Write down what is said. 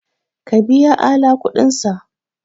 Ka biya Ala kudinsa!